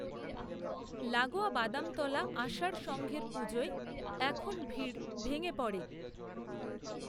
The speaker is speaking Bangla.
লাগোয়া বাদামতলা আষাঢ় সঙ্ঘের পুজোয় এখন ভিড় ভেঙে পড়ে